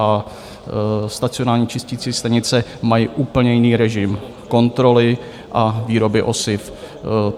A stacionární čisticí stanice mají úplně jiný režim kontroly a výroby osiv.